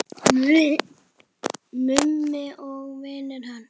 Mummi og vinir hans.